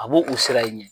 A b'o u sira in ɲɛ